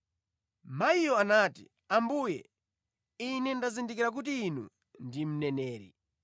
Mayiyo anati, “Ambuye, ine ndazindikira kuti Inu ndinu mneneri.